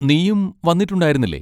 നീയും വന്നിട്ടുണ്ടായിരുന്നില്ലേ?